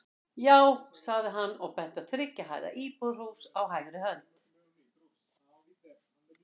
Já, sagði hann og benti á þriggja hæða íbúðarhús á hægri hönd.